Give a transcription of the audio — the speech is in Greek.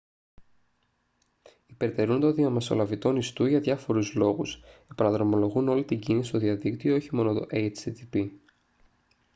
υπερτερούν των διαμεσολαβητών ιστού για διάφορους λόγους επαναδρομολογούν όλη την κίνηση στο διαδίκτυο όχι μόνο το http